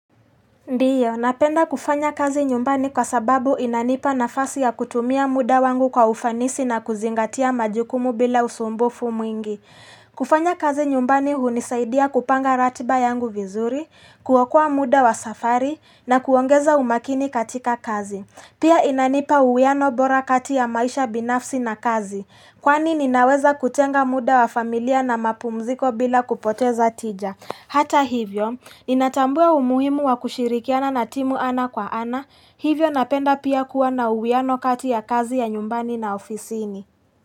Ndiyo, napenda kufanya kazi nyumbani kwa sababu inanipa nafasi ya kutumia muda wangu kwa ufanisi na kuzingatia majukumu bila usumbufu mwingi. Kufanya kazi nyumbani hunisaidia kupanga ratiba yangu vizuri, kuokaa muda wa safari na kuongeza umakini katika kazi. Pia inanipa uwiano bora kati ya maisha binafsi na kazi. Kwani ninaweza kutenga muda wa familia na mapumziko bila kupoteza tija. Hata hivyo, ninatambua umuhimu wa kushirikiana na timu ana kwa ana. Hivyo napenda pia kuwa na uwiano kati ya kazi ya nyumbani na ofisiini.